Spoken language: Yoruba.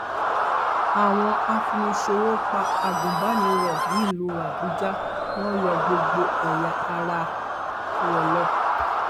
àwọn afiniṣòwò pa agùnbàníró nílùú àbújá wọn yọ gbogbo ẹyà ara rẹ lọ